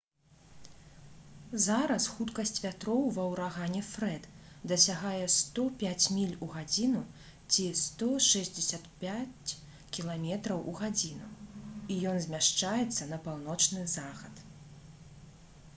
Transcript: зараз хуткасць вятроў ва ўрагане «фрэд» дасягае 105 міль у гадзіну ці 165 км/г і ён змяшчаецца на паўночны захад